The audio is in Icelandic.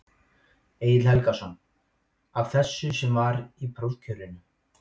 Egill Helgason: Af þessu sem var í prófkjörinu?